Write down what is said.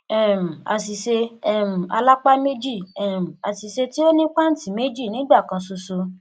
um àṣìṣe um alápá méjì um àṣìṣe tí ó nípaǹtì méjì nígbà kan ṣoṣo